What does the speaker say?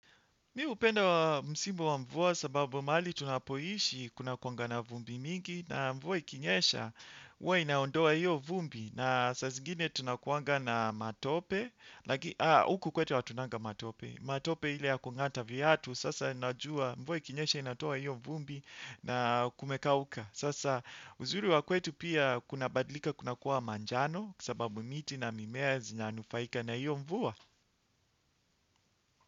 Mimi hupenda msimu wa mvua sababu mahali tunapoishi kunakuanga na vumbi mingi na mvua ikinyesha huwa inaondoa hiyo vumbi na saa zingine tunakuanga na matope. Huku kwetu hatunanga matope. Matope ile ya kungata viatu sasa najua mvua ikinyesha inatoa hiyo vumbi na kumekauka. Sasa uzuri wa kwetu pia kunabadlika kunakuwa manjano kwa sababu miti na mimea zinanufaika na hiyo mvua.